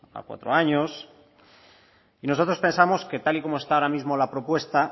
a cuatro años y nosotros pensamos que tal y como está ahora mismo la propuesta